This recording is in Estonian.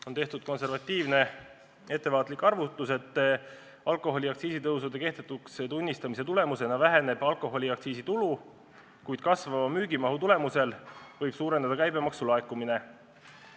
On tehtud konservatiivne, ettevaatlik arvutus, et alkoholiaktsiisi tõusude kehtetuks tunnistamise tulemusena väheneb alkoholiaktsiisi tulu, kuid tänu müügimahu kasvule võib suureneda käibemaksu laekumine.